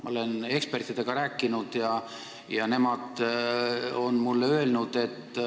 Ma olen ekspertidega rääkinud ja nemad on mulle öelnud ...